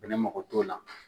Bɛnɛ mako t'o la.